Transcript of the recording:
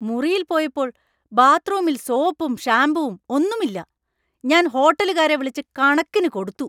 മുറിയിൽ പോയപ്പോൾ ബാത്റൂമിൽ സോപ്പും ഷാമ്പുവും ഒന്നും ഇല്ല. ഞാൻ ഹോട്ടലുകാരെ വിളിച്ച് കണക്കിന് കൊടുത്തു.